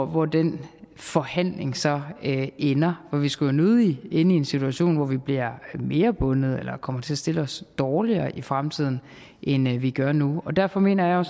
hvor den forhandling så ender vi skulle jo nødig ende i en situation hvor vi bliver mere bundet eller kommer til at stille os dårligere i fremtiden end vi gør nu derfor mener jeg